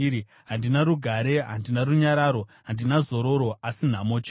Handina rugare, handina runyararo; handina zororo, asi nhamo chete.”